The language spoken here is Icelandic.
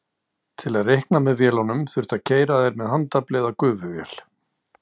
Til að reikna með vélunum þurfti að keyra þær með handafli eða gufuvél.